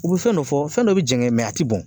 U bi fɛn dɔ fɔ fɛn dɔ bi jɛngɛn a tɛ bɔn.